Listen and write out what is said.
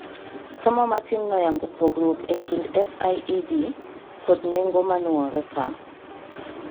Somo matin noyango pogruok e kind fi ed kod nengo manuore ka